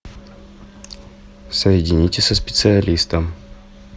соедините со специалистом